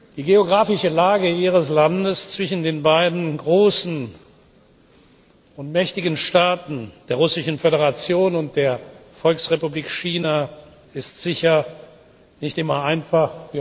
Die geografische Lage Ihres Landes zwischen den beiden großen und mächtigen Staaten der Russischen Föderation und der Volksrepublik China ist sicher nicht immer einfach